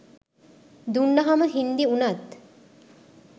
දුන්නහම හින්දි වුනත්